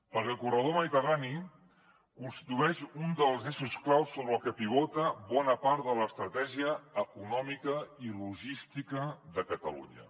perquè el corredor mediterrani constitueix un dels eixos clau sobre el que pivota bona part de l’estratègia econòmica i logística de catalunya